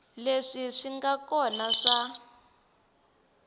leswi swi nga kona swa